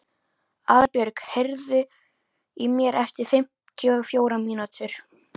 Aðalbjörg, heyrðu í mér eftir fimmtíu og fjórar mínútur.